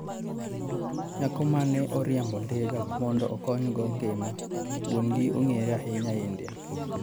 Nyako mane oriembo ndiga mondo okonygo ngima wuongi ong'ere ahinya India.